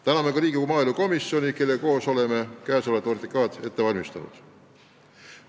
Täname Riigikogu maaelukomisjoni, kellega koos oleme käesolevat OTRK-d ette valmistanud!